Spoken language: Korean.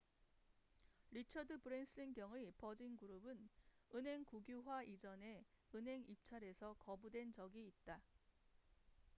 리처드 브랜슨 경의 버진그룹은 은행 국유화 이전에 은행 입찰에서 거부된 적이 있다